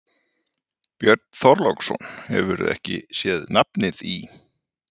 Björn Þorláksson: Hefurðu ekki sé nafnið í?